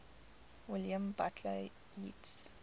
william butler yeats